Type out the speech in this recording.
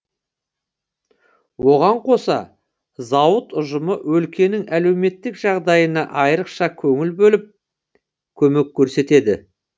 оған қоса зауыт ұжымы өлкенің әлеуметтік жағдайына айырықша көңіл бөліп көмек көрсетеді